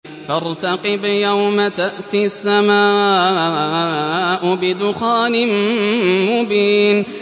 فَارْتَقِبْ يَوْمَ تَأْتِي السَّمَاءُ بِدُخَانٍ مُّبِينٍ